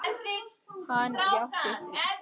Hann játti því.